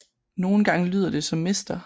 Nogle gange lyder det som Mr